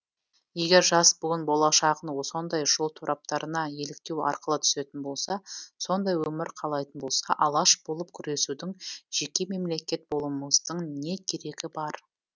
егер жас буын болашағын сондай жол тораптарына еліктеу арқылы түсетін болса сондай өмір қалайтын болса алаш болып күресудің жеке мемлекет болумыздың не керегі бар